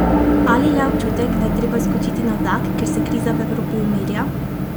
Ali le občutek, da je treba skočiti na vlak, ker se kriza v Evropi umirja?